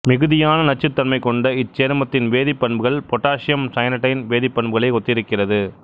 மிகுதியான நச்சுத்தன்மை கொண்ட இச்சேர்மத்தின் வேதிப்பண்புகள் பொட்டாசியம் சயனைடின் வேதிப்பண்புகளை ஒத்திருக்கிறது